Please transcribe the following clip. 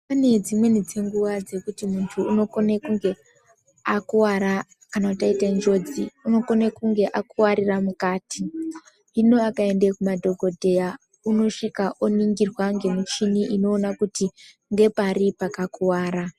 Pane dzimweni dzenguwa dzekuti muntu unokona kunge akuwara kana kuti aita njodzi unokone kunge akuwarira mukati, hino akaenda kumadhokodheya unosvika oningirwa ngemichini inoona kuti ngepari pakakuwara.